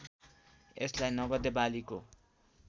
यसलाई नगदे बालीको